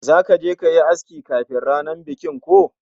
Zaka je kayi aski kafin ranar bikin ko?